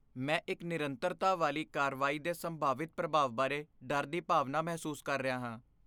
ਮੈਂ ਇੱਕ ਨਿਰੰਤਰਤਾ ਵਾਲੀ ਕਾਰਵਾਈ ਦੇ ਸੰਭਾਵਿਤ ਪ੍ਰਭਾਵ ਬਾਰੇ ਡਰ ਦੀ ਭਾਵਨਾ ਮਹਿਸੂਸ ਕਰ ਰਿਹਾ ਹਾਂ।